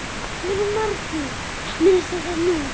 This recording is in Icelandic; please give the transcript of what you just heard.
Munu margir minnast þess nú.